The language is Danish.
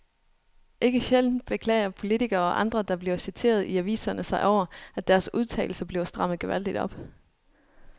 Ikke sjældent beklager politikere og andre, der bliver citeret i aviserne sig over, at deres udtalelser bliver strammet gevaldigt op.